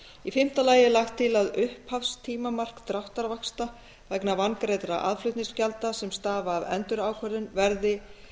í fimmta lagi er lagt til að upphafstímamark dráttarvaxta vegna vangreiddra aðflutningsgjalda sem stafa af endurákvörðun verði